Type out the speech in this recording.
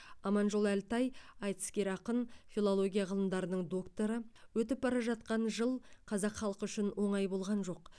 аманжол әлтай айтыскер ақын филология ғылымдарының докторы өтіп бара жатқан жыл қазақ халқы үшін оңай болған жоқ